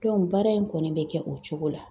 baara in kɔni bɛ kɛ o cogo la.